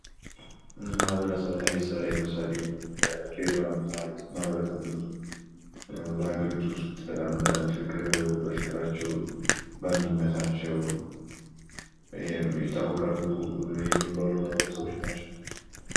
ማህበረሰብ እና ቤተሰብ ላይ ለምሳሌ፦ በድሬዳዋ ያሉትን ማህበረሰብ ብንወስድ በሀገሪቱ ውስጥ በጣም በፍቅራቸው፣ በአንድነታቸው ይታወቃሉ የሚባሉ ማህበረሰቦች ናቸው።